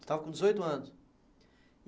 Estava com dezoito anos.